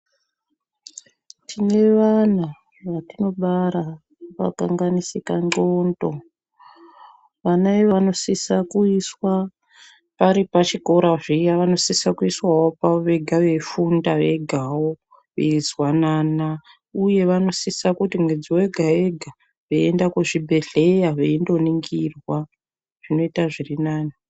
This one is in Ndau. Tine vana vatinobara vakakanganisika ndxondo vana iva vanosisa kuiswa paripachikora zviya vanosisavo kuiswavo pavovega veifunda vegavo ,veizwanana, uye vanosisa kuti mwedzi vega-vega veienda kuzvimbedhleya veindoningirwa zvinota zvirinani.